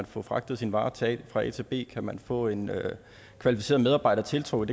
få fragtet sin vare fra a til b om man kan få en kvalificeret medarbejder tiltrukket